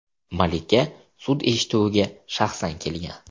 Malika sud eshituviga shaxsan kelgan.